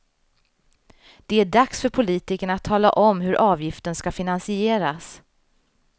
Det är dags för politikerna att tala om hur avgiften ska finansieras.